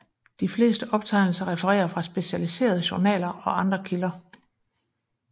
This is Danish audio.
De fleste optegnelser refererer fra specialiserede journaler og andre kilder